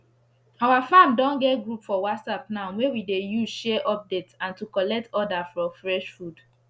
our farm don get group for whatsapp now wey we dey use share update and to collect order for fresh food